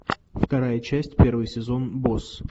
вторая часть первый сезон босс